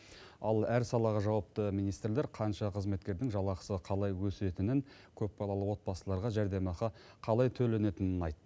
ал әр салаға жауапты министрлер қанша қызметкердің жалақысы қалай өсетінін көпбалалы отбасыларға жәрдемақы қалай төленетінін айтты